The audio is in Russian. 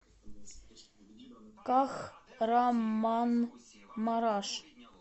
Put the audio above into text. кахраманмараш